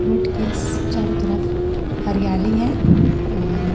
road के इस चारों तरफ हरियाली है और--